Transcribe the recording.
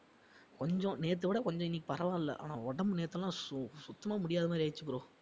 கொஞ்சம் நேத்தை விட கொஞ்சம் இன்னைக்கு பரவாயில்லை ஆனா உடம்பு நேத்தெல்லாம் சு~ சுத்தமா முடியாத மாதிரி ஆயிடுச்சு bro